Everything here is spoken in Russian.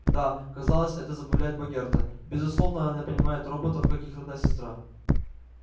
да казалось это забавляет богерта безусловно она понимает роботов как их родная сестра